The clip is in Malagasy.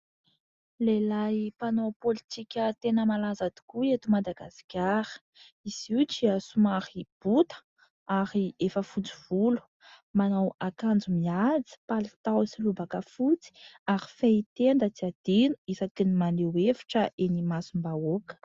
Lehilahy mpanao politika tena malaza tokoa eto Madagasikara, izy io dia somary bota ary efa fotsy volo manao akanjo mihaja : palitao sy lobaka fotsy ary fehitenda tsy adino isaky ny maneho hevitra eny imasom-bahoaka.